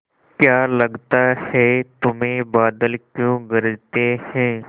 क्या लगता है तुम्हें बादल क्यों गरजते हैं